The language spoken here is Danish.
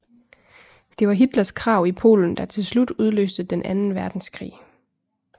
Det var Hitlers krav i Polen der til slut udløste den anden verdenskrig